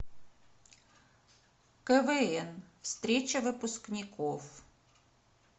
квн встреча выпускников